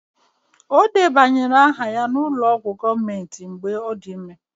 Ọ debanyere aha ya n'ụlọ ọgwụ gọọmentị mgbe ọ dị ime